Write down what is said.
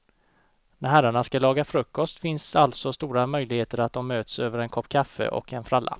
När herrarna ska laga frukost finns alltså det stora möjligheter att de möts över en kopp kaffe och en fralla.